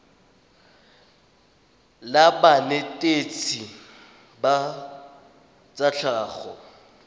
la banetetshi ba tsa tlhago